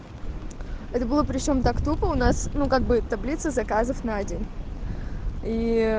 это было причём так тупо у нас могут быть таблица заказов на день